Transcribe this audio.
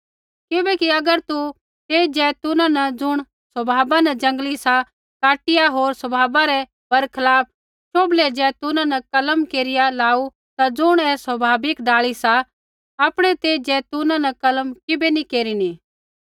किबैकि अगर तू तेई जैतूना न ज़ुण स्वभाव न जंगली सा काटिया होर स्वभाव रै बरखलाप शोभले ज़ैतूना न कलम केरिया लाऊ ता ज़ुण ऐ स्वभाविक डाल़ी सी आपणै तेई ज़ैतूना न कलम किबै नी केरिनी